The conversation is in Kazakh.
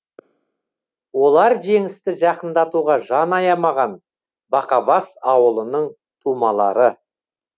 олар жеңісті жақындатуға жан аямаған бақабас ауылының тумалары